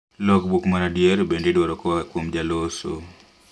Logbook mar adier bende idwaro koaa kuom jaloso